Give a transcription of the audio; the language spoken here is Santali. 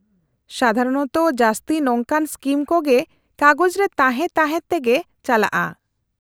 -ᱥᱟᱫᱷᱟᱨᱚᱱᱛᱚ ᱡᱟᱹᱥᱛᱤ ᱱᱚᱝᱠᱟᱱ ᱥᱠᱤᱢ ᱠᱚ ᱜᱮ ᱠᱟᱜᱚᱡᱨᱮ ᱛᱟᱦᱮᱸ ᱛᱟᱦᱮᱸ ᱛᱮᱜᱮ ᱪᱟᱞᱟᱜᱼᱟ ᱾